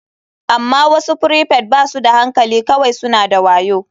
Amma wasu prefect ba su da hankali kawai suna da wayo.